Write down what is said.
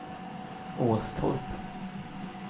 Åstorp